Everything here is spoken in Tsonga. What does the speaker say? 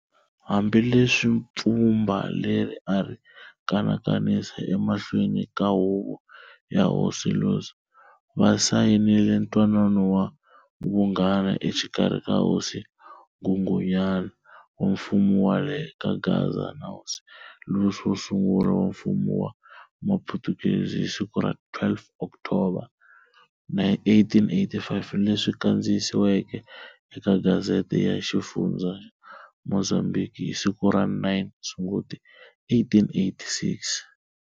Hambileswi pfhumba leri ari kanakanisa e mahlweni ka huvo ya Hosi Louis, vasayinile ntwanano wa vunghana exikarhi ka Hosi Nghunghunyana wa mfumo wa le kaGaza na Hosi Louis wosungula wa mfumo wa maphutukezi hi siku ra 12 October? 1885, leswi kandziyisiweke eka Gazzete ya xifundza xa Mozambhiki hi siku ra 9 Sunguti 1886.